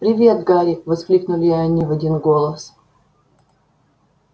привет гарри воскликнули они в один голос